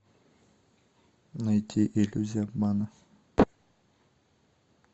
найти иллюзия обмана